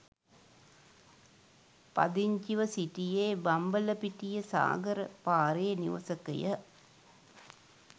පදිංචිව සිටියේ බම්බලපිටිය සාගර පාරේ නිවසකය.